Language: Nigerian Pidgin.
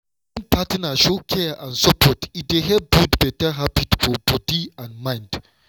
wen partner show care and support e dey help build better habit for body and mind.